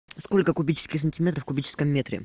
сколько кубических сантиметров в кубическом метре